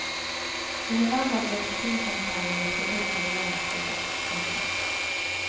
I november ble fusjonssamtalene løftet opp på regjeringsnivå. punktum